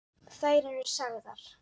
Þær eru sagðar.